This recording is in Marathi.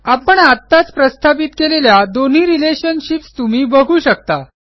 आपण आत्ताच प्रस्थापित केलेल्या दोन्ही रिलेशनशिप्स तुम्ही बघू शकता